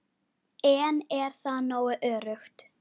En er það nógu öruggt?